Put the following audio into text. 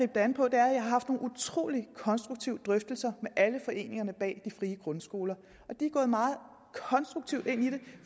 det an på er at jeg har haft nogle utrolig konstruktive drøftelser med alle foreningerne bag de frie grundskoler og de er gået meget konstruktivt ind i det